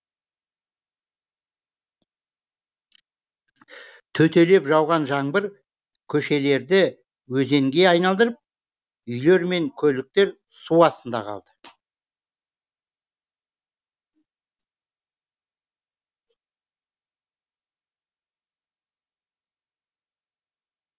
төпелеп жауған жаңбыр көшелерді өзенге айналдырып үйлер мен көліктер су астында қалды